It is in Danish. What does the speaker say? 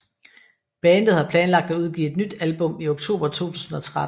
Bandet har planlagt at udgive et nyt album i oktober 2013